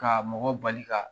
Ka mɔgɔ bali ka